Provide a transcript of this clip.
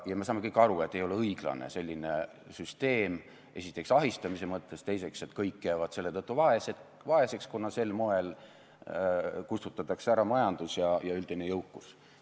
Me saame kõik aru, et selline süsteem ei ole õiglane, esiteks ahistamise mõttes, ja teiseks, kõik jäävad selle tõttu vaeseks, kuna sel moel kustutatakse ära majandus ja üldine jõukus.